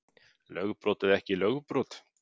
Lögbrot eða ekki lögbrot